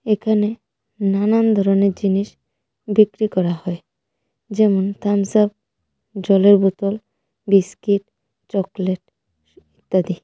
এখানে নানান ধরনের জিনিস বিক্রি করা হয় যেমন থামস আপ জলের বোতল বিস্কিট চকলেট ইত্যাদি.